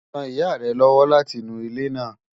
Ràn ìyà rẹ̀ lọ́wọ́ lati nú ilẹ́ náà.